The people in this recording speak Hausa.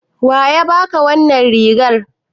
Wa ya baka wannan rigar?